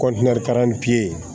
pipiɲɛri